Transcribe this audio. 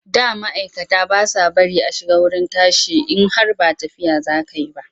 Da ma'aikata ba sa bari a shiga wurin tashi in har ba tafiya za ka yi ba.